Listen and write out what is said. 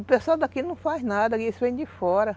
O pessoal daqui não faz nada, eles vêm de fora.